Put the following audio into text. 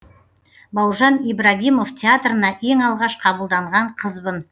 бауыржан ибрагимов театрына ең алғаш қабылданған қызбын